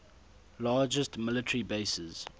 largest military bases